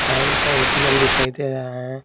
Bank का ATM दिखाई दे रहा है।